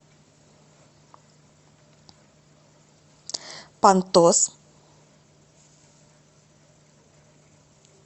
понтос